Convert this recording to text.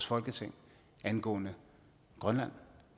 folketinget angående grønland